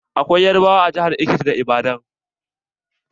Akwai yarbawa a jihar Ekiti da Ibadan.